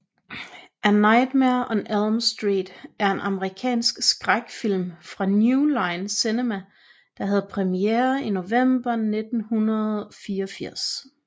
A Nightmare on Elm Street er en amerikansk skrækfilm fra New Line Cinema der havde premiere i november 1984